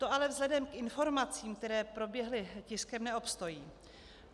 To ale vzhledem k informacím, které proběhly tiskem, neobstojí.